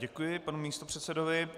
Děkuji panu místopředsedovi.